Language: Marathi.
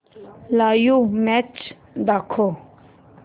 लाइव्ह मॅच दाखव